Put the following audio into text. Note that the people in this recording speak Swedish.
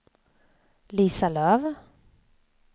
Lisa Löf